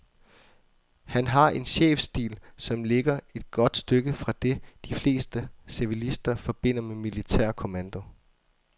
Han har en chefstil, som ligger et godt stykke fra det, de fleste civilister forbinder med militær kommando.